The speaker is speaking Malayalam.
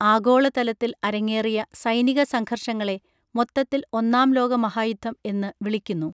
ആഗോളതലത്തിൽ അരങ്ങേറിയ സൈനിക സംഘർഷങ്ങളെ മൊത്തത്തിൽ ഒന്നാം ലോകമഹായുദ്ധം എന്നു വിളിക്കുന്നു